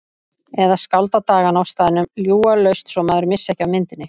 Eða skálda dagana á staðnum, ljúga laust svo maður missti ekki af myndinni.